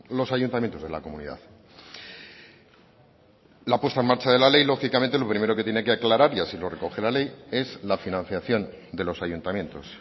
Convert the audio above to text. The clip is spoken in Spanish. los ayuntamientos de la comunidad la puesta en marcha de la ley lógicamente lo primero que tiene que aclarar y así lo recoge la ley es la financiación de los ayuntamientos